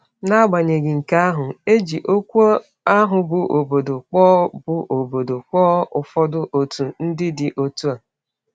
N’agbanyeghị nke ahụ, e ji okwu ahụ bụ́ “obodo” kpọọ bụ́ “obodo” kpọọ ụfọdụ òtù ndị dị otu a.